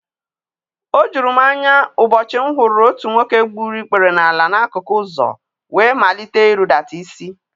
O juru m anya ụbọchị m hụrụ otu nwoke gburu ikpere n’ala n’akụkụ ụzọ wee malite irudata isi.